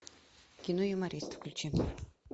кино юморист включи